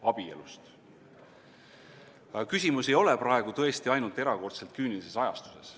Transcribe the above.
Aga küsimus ei ole praegu tõesti ainult erakordselt küünilises ajastuses.